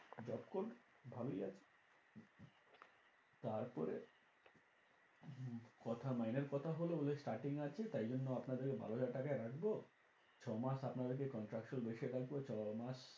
Job করবো ভালোই আছে। তারপরে হম কথা মাইনের কথা হলো বললো starting এ আছে তাই জন্য আপনাদেরকে বারো হাজার টাকায় রাখবো ছ মাস আপনাদেরকে contraction base রাখবো ছ মাস